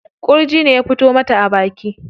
Ƙurji ne ya fito mata a baki.